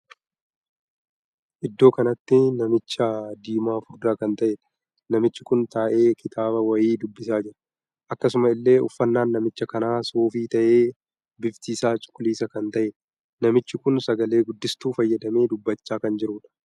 Iddoo kanatti namicha diimaa furdaa kan taheedha. namichi kun taahee kitaaba wayii dubbisaa jira. akkasuma illee uffannaan namicha kanaa suufii tahee bifti isaa cuquliisa kan tahedha. namichi kun sagalee guddistuu fayyadamee dubbachaa kan jirudha.